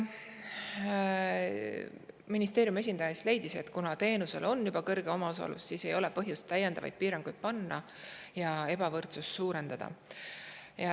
Ministeeriumi esindaja leidis, et kuna teenuse omaosalus on juba suur, siis ei ole põhjust täiendavaid piiranguid ja ebavõrdsust suurendada.